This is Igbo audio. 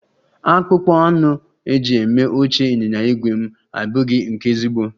Akpụkpọ anụ eji eme oche ịnyịnya ígwè m abụghị nke ezigbo